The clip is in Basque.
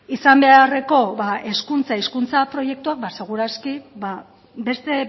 izan beharreko hezkuntza hizkuntza proiektua segur aski beste